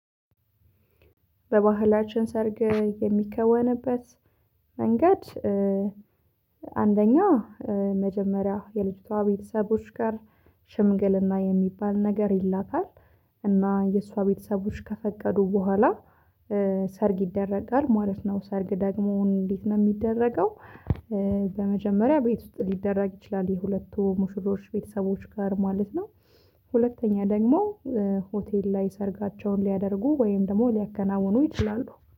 በባህላችን ሰርግ የሚከወንበት መንገድ። አንደኛ መጀመሪያ የልጅቷ ቤተሰቦች ጋር ሽምግልና የሚባል ነገር ይላካል። እና የእሷ ቤተሰቦች ከፈቀዱ በኋላ ሰርግ ይደረጋል ማለት ነው። ሰርግ ደግሞ እንዴት ነው የሚደረገው? በመጀመሪያ ቤት ውስጥ ሊደረግ ይችላል የሁለቱ ሙሽሮሽ ቤተሰቦች ጋር ማለት ነው። ሁለተኛ ደግሞ ሆቴል ላይ ሰርጋቸውን ሊያደርጉ ወይም ደግሞ ሊያከናውኑ ይችላሉ